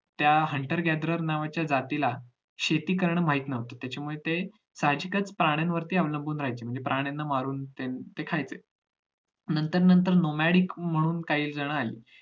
त्या hunter gathering नावाच्या जातीला शेती कारण माहित नव्हतं त्याच्यामुळे ते साहजिकच प्राण्यांवरती अवलूंबून राहायचे म्हणजे प्राण्यांना मारून ते खायचे नंतर नंतर no madic म्हणून काहीजण आली